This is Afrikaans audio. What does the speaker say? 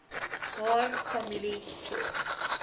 haar familie sorg